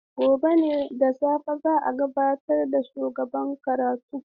Gobe ​​da safe ne za a gabatar da shugaban karatun.